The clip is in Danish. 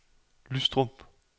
Lystrup